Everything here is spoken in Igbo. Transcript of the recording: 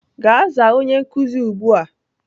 Gaa zaa onye nkuzi ugbua!